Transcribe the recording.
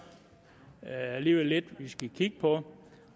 alligevel lidt vi skal kigge på